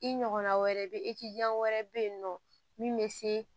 I ɲɔgɔnna wɛrɛ bɛ ye wɛrɛ bɛ yen nɔ min bɛ se